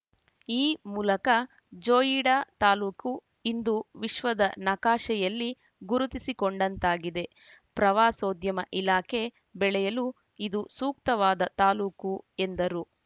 ಈ ಮೂಲಕ ಜೋಯಿಡಾ ತಾಲೂಕು ಇಂದು ವಿಶ್ವದ ನಕಾಶೆಯಲ್ಲಿ ಗುರುತಿಸಿಕೊಂಡಂತಾಗಿದೆ ಪ್ರವಾಸೋದ್ಯಮ ಇಲಾಖೆ ಬೆಳೆಯಲು ಇದು ಸೂಕ್ತವಾದ ತಾಲೂಕು ಎಂದರು